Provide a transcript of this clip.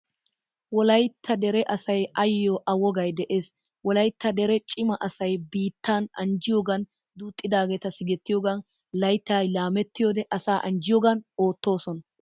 Wolaytta dere asay ayyo a wogaay de'ees. Wolaytta dere cima asay biittan anjjiyogan, duxxidagetta sigettiyogan, layttay laamettiyode asa anjjiyogan oottosona.